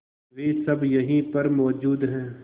वे सब यहीं पर मौजूद है